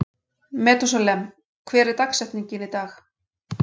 Methúsalem, hver er dagsetningin í dag?